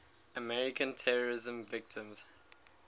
american terrorism victims